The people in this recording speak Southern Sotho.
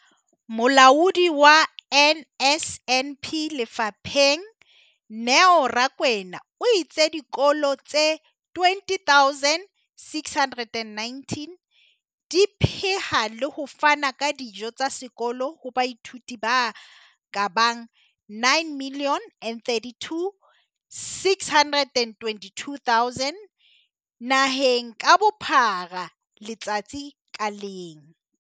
Molaodi wa NSNP lefapheng, Neo Rakwena, o itse dikolo tse 20 619 di pheha le ho fana ka dijo tsa sekolo ho baithuti ba ka bang 9 032 622 naheng ka bophara letsatsi ka leng.